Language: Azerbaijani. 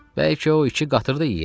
Bəlkə o iki qatırı da yeyək.